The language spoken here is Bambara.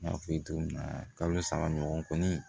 N y'a f'i ye cogo min na kalo saba ɲɔgɔn kɔni